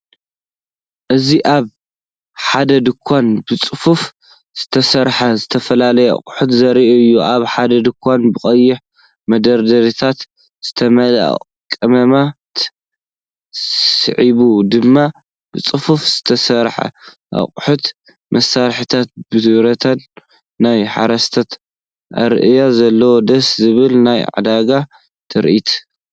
እዚ ኣብ ሓደ ድኳን ብጽፉፍ ዝተሰርዐ ዝተፈላለየ ኣቑሑት ዘርኢ እዩ። ኣብ ሓደ ድኳን ብቐይሕ መዳበርያታት ዝተመልአ ቀመማት፡ ስዒቡ ድማ ብጽፉፍ ዝተሰርዐ ኣቁሑት መሳርሒታት ብረትን። ናይ ሓረስታይ ኣረኣእያ ዘለዎ ደስ ዘብል ናይ ዕዳጋ ትርኢት።